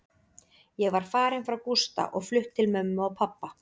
Ég var farin frá Gústa og flutt til mömmu og pabba.